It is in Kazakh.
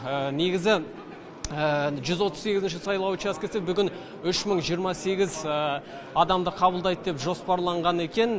негізі жүз отыз сегізінші сайлау учаскесі бүгін үш мың жиырма сегіз адамды қабылдайды деп жоспарланған екен